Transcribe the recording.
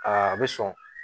Aa a bɛ sɔn